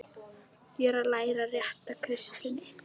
Ég er að læra rétta kristni.